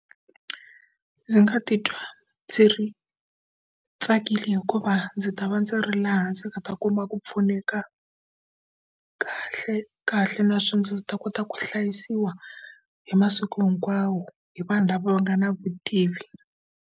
Ndzi nga titwa ndzi ri tsakile hikuva ndzi ta va ndzi ri laha ndzi nga ta kuma ku pfuneka kahle kahle naswona ndzi ta kota ku hlayisiwa hi masiku hinkwawo hi vanhu lava nga na vutivi.